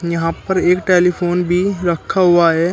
यहां पर एक टेलीफोन भी रखा हुआ है।